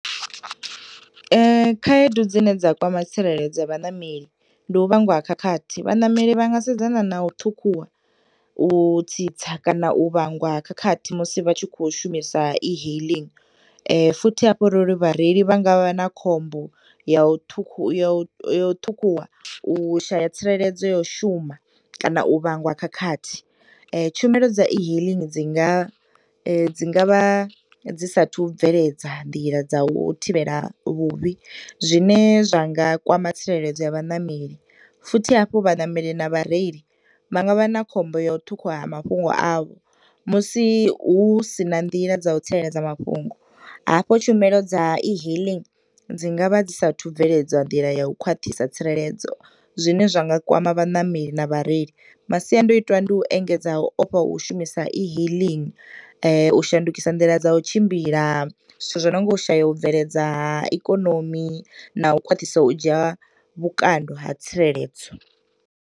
Khaedu dzine dza kwama tsireledzo ya vhaṋameli ndi u vhangwa ha khakhathi. Vhaṋameli vha nga sedzana na u ṱhukhuwa, u tsitsa kana u vhangwa ha khakhathi musi vha tshi khou shumisa e-hailing, futhi hafhanoni vhareili vha nga vha na khombo ya u ṱhukhu, ya u, ya u ṱhukhuwa, u shaya tsireledzo, ya u shuma kana u vhangwa khakhathi. Tshumelo dza e-hailing dzi nga, dzi nga vha dzi sathu bveledza nḓila dza u thivhela vhuvhi, zwine zwa nga kwama tsireledzo ya vhanameli, futhi hafho vhaṋameli na vhareili, vha nga vha na khombo ya u ṱhukhuwa ha mafhungo avho, musi hu si na nḓila dza u tsireledza mafhungo hafho, tshumelo dza e-hailing dzi nga vha dzi sathu bveledza nḓila ya u khwaṱhisa tsireledzo zwine zwa nga kwama vhaṋameli na vhareili. Masiandoitwa ndi u engedza u ofha ha u shumisa e-hailing , u shandukisa nḓila dza u tshimbila, zwithu zwo nonga u shaya u bveledza ha ikonomi, na u khwaṱhisa u dzhia vhukando ha tsireledzo.